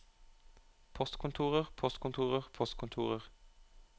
postkontorer postkontorer postkontorer